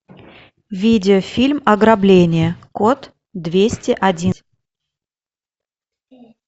видеофильм ограбление код двести один